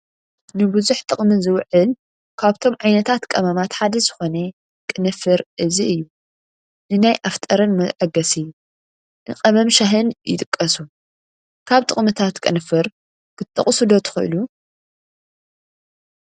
ንቡዙሕ ጥቕሚ ዝውዕል ካብቶም ዓይነታት ቀመማት ሓደ ዝኾነ ቅርንፍር እዚ እዩ፡፡ ንናይ ኣፍ ጠረን መስታዓገሲ፣ ንቀመም ሻሂን ይጥቀሱ፡፡ ካብ ጥቕምታት ቅንፍር ክትጠቕሱ ዶ ትኽእሉ?